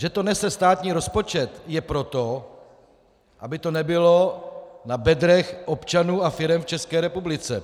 Že to nese státní rozpočet, je proto, aby to nebylo na bedrech občanů a firem v České republice.